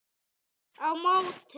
Á móti